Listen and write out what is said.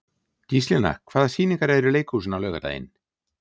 Gíslína, hvaða sýningar eru í leikhúsinu á laugardaginn?